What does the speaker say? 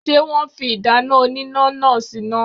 Ṣé wọn fi ìdáná oníná náà síná?.